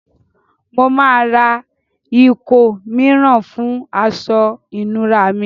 Mo màá re ìkó mìíràn fùn aso ìnura mi